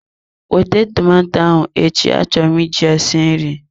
Wete tomato ahụ echi, achọrọ m iji ya sie nri!